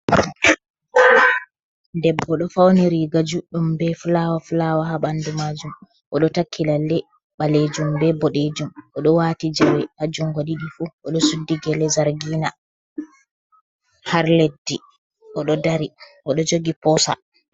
Debbo ɗo fawni riiga juɗɗum, be fulawa fulawa haa ɓanndu maajum .O ɗo takki lalle ɓaleejum be boɗeejum. O ɗo waati jawe a junngo ɗiɗi fu, o ɗo suddi gele zargina, har leddi.O ɗo dari, o ɗo jogi poosa.